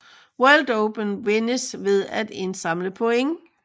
World Cuppen vindes ved at indsamle point